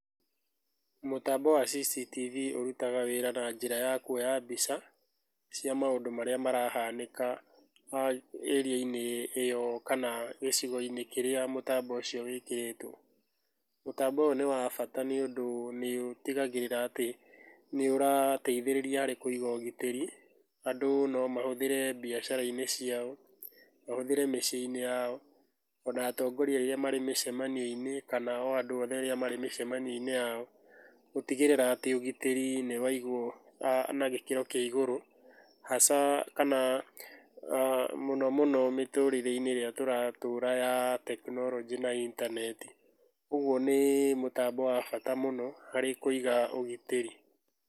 Mũtambo wa CCTV ũrutaga wĩra na njĩra ya kuoya mbica cia maũndũ marĩa marahanĩka ĩria-inĩ ĩyo kaga gĩcigo-inĩ kĩrĩa mũtambo ũcio wĩkĩrĩtũo. Mũtambo ũyũ nĩ wa bata nĩũndũ nĩũtigagĩrĩra atĩ nĩũrateithĩrĩria harĩ kũiga ũgitĩri. Andũ no mahũthĩre mbiacara-inĩ ciao, mahũthĩre mĩciĩ-inĩ yao, ona atongoria rĩrĩa marĩ mĩcemanio-inĩ kana andũ othe rĩrĩa marĩ mĩcemanio-inĩ yao, gũtigĩrĩra atĩ ũgitĩrĩ nĩwaigwo na gĩkĩro kĩa igũrũ, haca kana mũno mũno mĩtũrĩre-inĩ ĩrĩa tũratũra ya tekinoronjĩ na intaneti. Ũguo nĩ mũtambo wa bata mũno harĩ kũiga ũgitĩri.